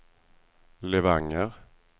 Levanger